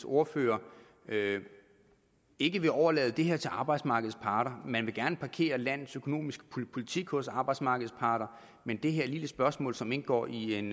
ordfører ikke vil overlade det her til arbejdsmarkedets parter man vil gerne parkere landets økonomiske politik hos arbejdsmarkedets parter men det her lille spørgsmål som indgår i en